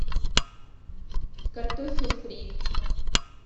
картофель фри